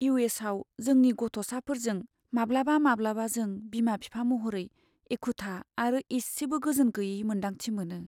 इउ.एस.आव जोंनि गथ'साफोरजों, माब्लाबा माब्लाबा जों बिमा बिफा महरै एखुथा आरो इसेबो गोजोनगैयै मोन्दांथि मोनो!